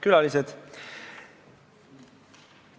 Külalised!